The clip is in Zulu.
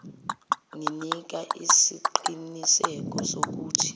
nginika isiqiniseko sokuthi